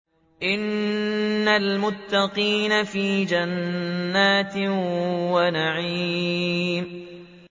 إِنَّ الْمُتَّقِينَ فِي جَنَّاتٍ وَنَعِيمٍ